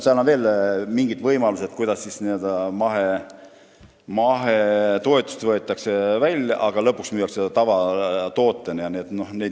Seal on veel mingid võimalused, et n-ö mahetoetus võetakse välja, aga lõpuks müüakse toodang ikka tavatoodetena maha.